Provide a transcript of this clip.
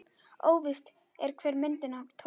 Óvíst er, hver myndina tók.